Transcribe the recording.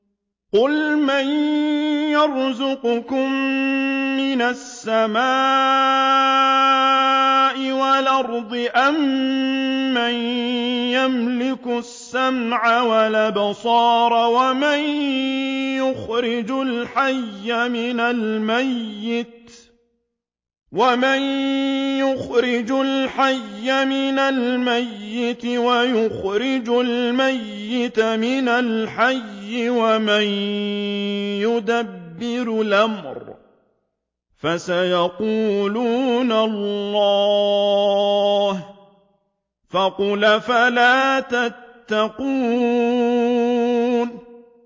قُلْ مَن يَرْزُقُكُم مِّنَ السَّمَاءِ وَالْأَرْضِ أَمَّن يَمْلِكُ السَّمْعَ وَالْأَبْصَارَ وَمَن يُخْرِجُ الْحَيَّ مِنَ الْمَيِّتِ وَيُخْرِجُ الْمَيِّتَ مِنَ الْحَيِّ وَمَن يُدَبِّرُ الْأَمْرَ ۚ فَسَيَقُولُونَ اللَّهُ ۚ فَقُلْ أَفَلَا تَتَّقُونَ